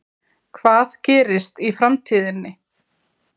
Hvað gerist í framtíðinni?